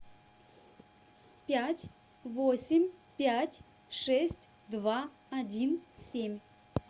пять восемь пять шесть два один семь